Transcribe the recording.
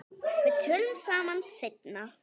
Við tölum saman seinna.